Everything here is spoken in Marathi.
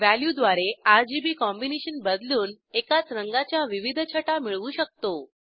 वॅल्यू द्वारे आरजीबी कॉम्बिनेशन बदलून एकाच रंगाच्या विविध छटा मिळवू शकतो